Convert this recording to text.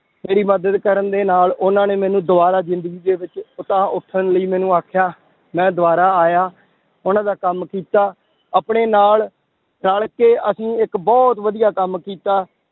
ਮੇਰੀ ਮਦਦ ਕਰਨ ਦੇ ਨਾਲ ਉਹਨਾਂ ਨੇ ਮੈਨੂੰ ਦੁਬਾਰਾ ਜ਼ਿੰਦਗੀ ਦੇ ਵਿੱਚ ਉਤਾਂਹ ਉੱਠਣ ਲਈ ਮੈਨੂੰ ਆਖਿਆ, ਮੈਂ ਦੁਬਾਰਾ ਆਇਆ ਉਹਨਾਂ ਦਾ ਕੰਮ ਕੀਤਾ, ਆਪਣੇ ਨਾਲ ਰਲ ਕੇ ਅਸੀਂ ਇੱਕ ਬਹੁਤ ਵਧੀਆ ਕੰਮ ਕੀਤਾ